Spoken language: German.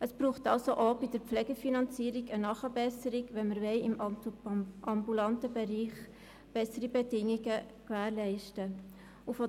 Es braucht somit auch bei der Pflegefinanzierung eine Nachbesserung, wenn wir im ambulanten Bereich bessere Bedingungen schaffen wollen.